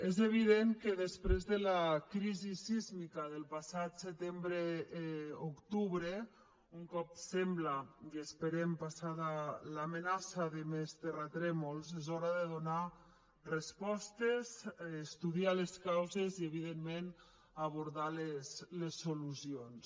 és evident que després de la crisi sísmica del passat setembre octubre un cop sembla i ho esperem passada l’amenaça de més terratrèmols és hora de donar respostes estudiar les causes i evidentment abordar les solucions